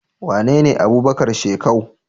Wanene Abubakar shekau?